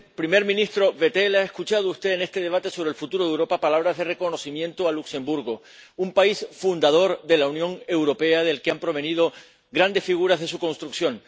Señor presidente, señor primer ministro Bettel, ha escuchado usted en este debate sobre el futuro de Europa palabras de reconocimiento a Luxemburgo, un país fundador de la Unión Europea del que han provenido grandes figuras de su construcción.